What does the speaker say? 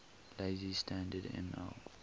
lazy standard ml